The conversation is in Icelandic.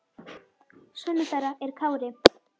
Sonur þeirra er Kári.